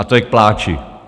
A to je k pláči.